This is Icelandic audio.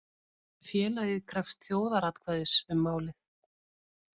Félagið krefst þjóðaratkvæðis um málið